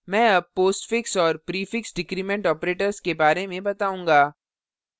मैं अब postfix और prefix decrement operators के बारे में बताऊंगा